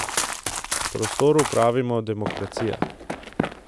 Prostoru pravimo demokracija.